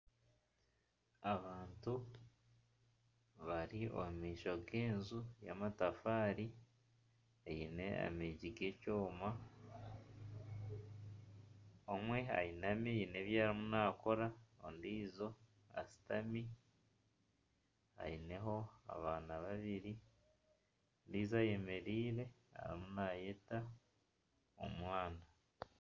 Abantu bari omu maisho g'enju yamatafaari. Eyine amiigi g'ekyoma. Omwe ayinami haine ebi arimu naakora, ondiijo ashutami ayine ho abaana babiri, ondiijo ayemereire arimu naayeta omwana.